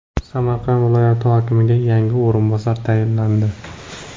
Samarqand viloyati hokimiga yangi o‘rinbosar tayinlandi.